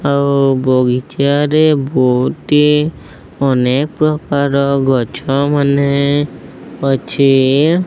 ଆଉ ବଗିଚାରେ ବୋହୁଟି ଅନେକ ପ୍ରକାର ଗଛ ମାନେ ଅଛି।